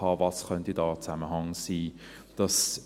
Was könnte da ein Zusammenhang sein?